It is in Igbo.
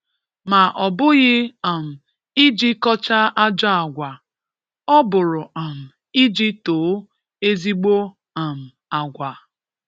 Ma ọ bụghị um iji kọchaa ajọ agwa, ọ bụrụ um iji too ezigbo um agwa.